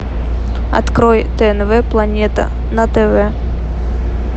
открой тнв планета на тв